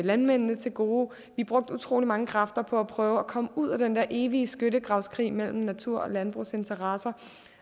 landmændene til gode vi brugte utrolig mange kræfter på at prøve at komme ud af den her evige skyttegravskrig mellem natur og landbrugsinteresser